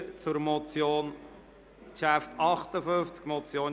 Wir kommen zum Traktandum 58, der Motion